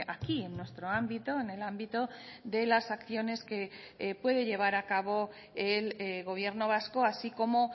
aquí en nuestro ámbito en el ámbito de las acciones que puede llevar a cabo el gobierno vasco así como